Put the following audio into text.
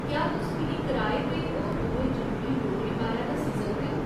क्या तुस मिगी कराए ते होर दुए जरूरी ब्योरें बारै दस्सी सकदे ओ?